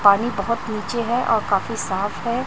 पानी बहोत नीचे है और काफी साफ है।